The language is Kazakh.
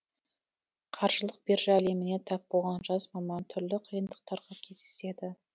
қаржылық биржа әлеміне тап болған жас маман түрлі қиындықтарға кездеседі